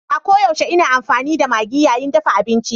A koyaushe ina amfani da Maggi yayin dafa abinci.